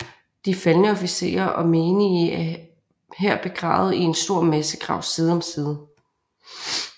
De faldne officerer og menige er her begravet i en stor massegrav side om side